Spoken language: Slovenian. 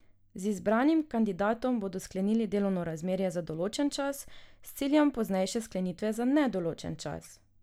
Z izbranim kandidatom bodo sklenili delovno razmerje za določen čas, s ciljem poznejše sklenitve za nedoločen čas.